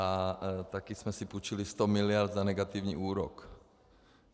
A taky jsme si půjčili 100 miliard za negativní úrok.